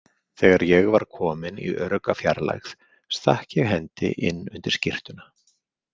Þegar ég var kominn í örugga fjarlægð stakk ég hendi inn undir skyrtuna.